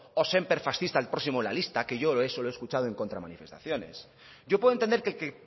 o sémper fascista el próximo en la lista que yo eso lo he escuchado en contramanifestaciones yo puedo entender que el que